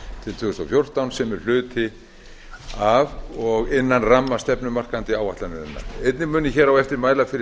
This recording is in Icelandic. til tvö þúsund og fjórtán sem er hluti af og innan ramma stefnumarkandi áætlunarinnar einnig mun ég hér á eftir mæla fyrir